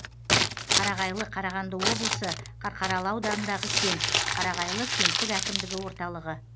қарағайлы қарағанды облысы қарқаралы ауданындағы кент қарағайлы кенттік әкімдігі орталығы